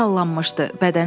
Başı sallanmışdı.